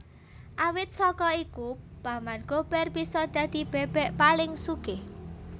Awit saka iku Paman Gober bisa dadi bebek paling sugih